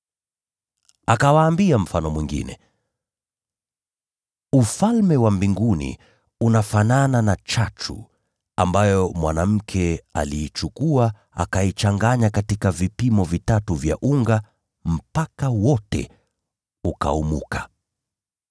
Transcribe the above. Akawaambia mfano mwingine, “Ufalme wa Mbinguni unafanana na chachu ambayo mwanamke aliichukua akaichanganya katika kiasi kikubwa cha unga mpaka wote ukaumuka.”